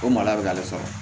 O mara bɛ k'ale sɔrɔ